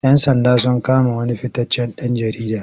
Yan sanda sun kama wani fitaccen ɗan jarida.